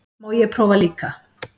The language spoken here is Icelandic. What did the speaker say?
Má ég prófa líka!